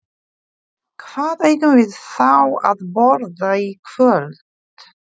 Hvað eigum við þá að borða í kvöld?